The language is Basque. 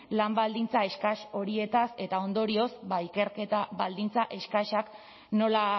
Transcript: lan baldintza eskas horietaz eta ondorioz ikerketa baldintza eskasak nola